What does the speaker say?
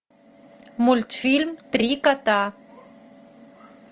мультфильм три кота